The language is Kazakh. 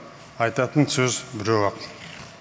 айтатын сөз біреу ақ